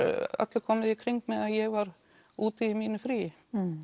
öllu komið í kring meðan ég var úti í mínu fríi